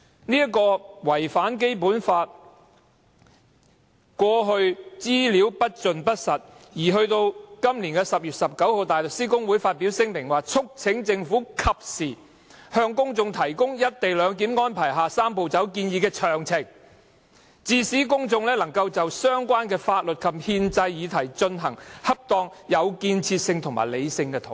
就違反《基本法》的顧慮，過去政府披露的資料不盡不實，大律師公會於是在今年10月19日發表聲明，"促請政府及時向公眾提供'一地兩檢'安排下'三步走'建議的詳情，致使公眾能就相關法律及憲制議題進行恰當、有建設及理性的討論"。